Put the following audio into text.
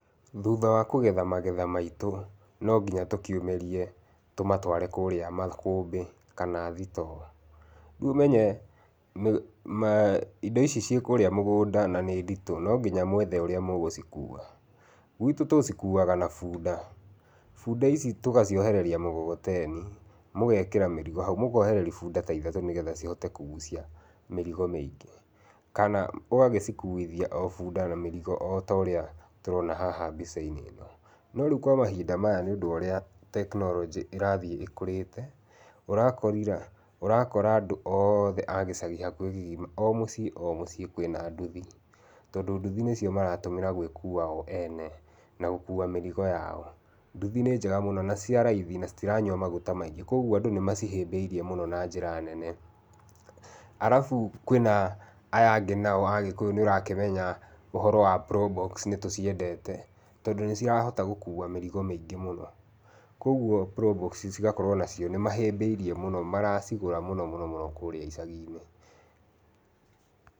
Thutha wa kũgetha magetha maitũ no nginya tũkiumĩrie tũmatware kũrĩa makũmbĩ kana thitoo, rĩu ũmenye indo ici ciĩ kũrĩa mũgũnda na nĩ nditũ no nginya mwethe ũrĩa mũgũcikua, gwitũ tũcikuaga na bunda, bunda ici tũgaciohereria mũkokoteni mũgekĩra mĩrigo hau, mũkohereria bunda ta ithatũ nĩgetha cihote kũgucia mĩrigo mĩingĩ, kana ũgagĩcikuthia o bunda na mĩrigo o ta ũrĩa tũrona haha mbica-inĩ ĩno, no rĩu kwa mahinda maya nĩ ũndũ wa ũrĩa tekinoronjĩ ĩrathiĩ ĩkũrĩte, ũrakora andũ othe agĩcagi hakuhĩ kĩgima, o mũciĩ o mũciĩ, kwĩna nduthi, tondũ nduthi nĩcio marahũthĩra gwĩkua o ene na gũkua mĩrigo yao, nduthi nĩ njega mũno na nĩ cia raithi na itiranyua maguta maingĩ kwoguo andũ nĩ macihĩmbĩirie na njĩra nene. Alafu kwĩna aya angĩ nao agĩkũyũ nĩ ũrakĩmenya ũhoro wa probox, nĩ tũciendete tondũ nĩ cirahota gũkua mĩrigo mĩingĩ mũno, kwoguo probox cigakorwo onacio nĩ mahĩmbĩirie mũno nĩ maracigũra mũno mũno kũrĩa icagi-inĩ.